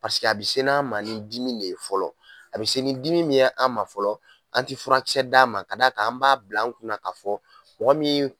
Paseke a bɛ n'an ma ni dimi ne ye fɔlɔ a bɛ se ni dimi min ye an ma fɔlɔ an tɛ furakisɛ d'a ma ka d'a kan an b'a bila an kunna ka fɔ mɔgɔ min